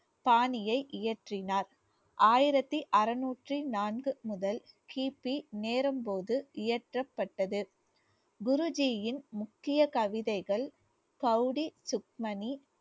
பாணியை இயற்றினார். ஆயிரத்தி அறுநூற்றி நான்கு முதல் கிபி போது இயற்றப்பட்டது குருஜியின் முக்கிய கவிதைகள்